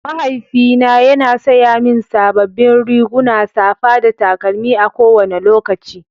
Mahaifina yana saya mini sababbin riguna, safa da takalmi a kowane lokaci.